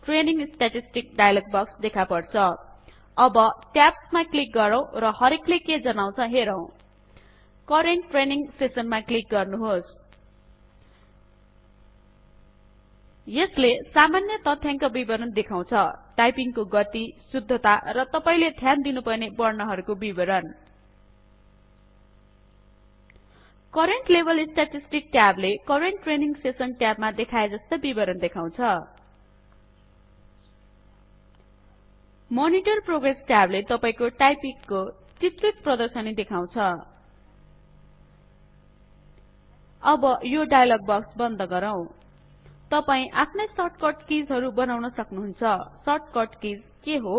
training statistics dialogue box देखापर्छ अब tabs मा क्लिक गरौं र हरेकले के जनाउँछ हेरौं करेंट ट्रेनिंग सेशन मा क्लिक गर्नुहोस् यसले सामान्य तथ्यांक बिबरण देखाउँछ टाइपिंगको गति शुद्धता र तपाईले ध्यान दिनुपर्ने बर्णहरुको बिबरण करेंट लेभल स्टॅटिस्टिक्स ट्याब ले करेंट ट्रेनिंग सेशन ट्याब मा देखाए जस्तै बिबरण देखाउँछ मनिटर प्रोग्रेस ट्याब ले तपाईको टाइपिंग को प्रगति को चित्रित प्रदर्शनी गर्छ अब यो डाइयलोग बक्स बन्द गरौं तपाई आफ्नै शर्ट कट किज हरु बनाउन सक्नुहुन्छ शर्ट कट किज के हो